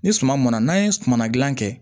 Ni suma mɔnna n'an ye sumana gilan kɛ